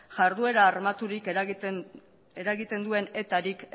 jarduera armaturik eragiten duen etarik